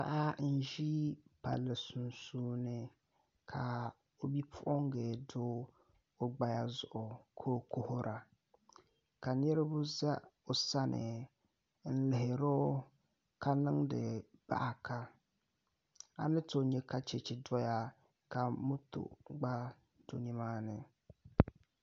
Paɣa n ʒi palli sunsuuni ka o bipuɣungi do o gbaya zuɣu ka o kuhura ka niraba ʒɛ o sani n lihiro ka niŋdi baɣa ka a ni tooi nyɛ ka chɛchɛ doya ka moto gba do nimaani